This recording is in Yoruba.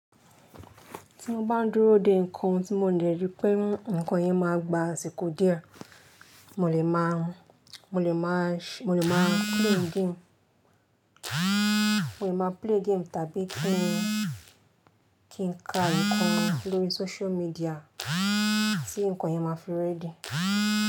Tí mo bá ń dúró dè ǹkan tí mo dẹ̀ rí pé ǹkan yẹn má gba àsìkò díẹ̀, mo lè máa play game mo lè máa play game Tavistock kí n ka ǹkan lórí social media tí ǹkan yẹn má fi ready.